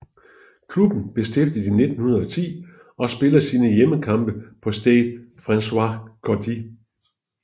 Klubben blev stiftet i 1910 og spiller sine hjemmekampe på Stade François Coty